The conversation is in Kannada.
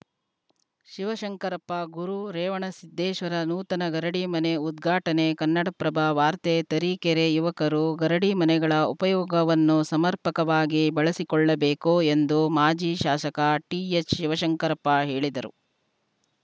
ಶಿವಶಂಕರಪ್ಪ ಗುರು ರೇವಣಸಿದ್ದೇಶ್ವರ ನೂತನ ಗರಡಿ ಮನೆ ಉದ್ಘಾಟನೆ ಕನ್ನಡಪ್ರಭ ವಾರ್ತೆ ತರೀಕೆರೆ ಯುವಕರು ಗರಡಿ ಮನೆಗಳ ಉಪಯೋಗವನ್ನು ಸಮರ್ಪಕವಾಗಿ ಬಳಸಿಕೊಳ್ಳಬೇಕು ಎಂದು ಮಾಜಿ ಶಾಸಕ ಟಿಎಚ್‌ ಶಿವಶಂಕರಪ್ಪ ಹೇಳಿದರು